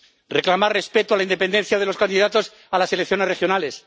reclamar respeto a la independencia de los candidatos a las elecciones regionales